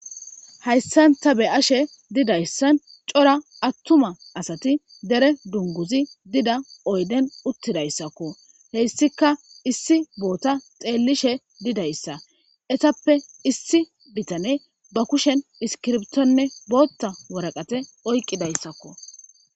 Hayssan ta be'ashe dizayssan cora attuma asati dere dunguzi diza oyden uttidayssakko. Heyssikka issi boota xeellishe dizayssa etappe issi bitaney ba kushe iskiriptonne bootta waraqate oyiqqidaydsakko.